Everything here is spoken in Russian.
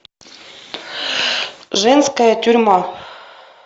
женская тюрьма